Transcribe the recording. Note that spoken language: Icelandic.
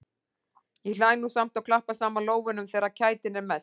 Ég hlæ nú samt og klappa saman lófunum þegar kætin er mest.